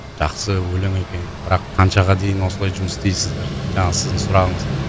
жақсы өлең екен бірақ қаншаға дейін осылай жұмыс істейсіздер жаңағы сіздің сұрағыңыз